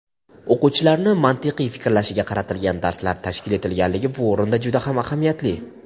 o‘quvchilarni mantiqiy fikrlashiga qaratilgan darslar tashkil etilganligi bu o‘rinda juda ahamiyatli.